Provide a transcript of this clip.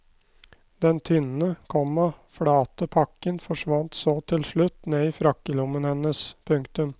Den tynne, komma flate pakken forsvant så til slutt ned i frakkelommen hennes. punktum